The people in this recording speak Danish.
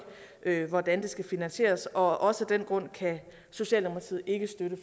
ikke hvordan det skal finansieres og også af den grund kan socialdemokratiet ikke støtte